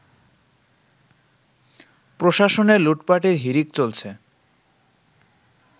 প্রশাসনে লুটপাটের হিড়িক চলছে